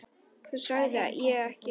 Það sagði ég ekki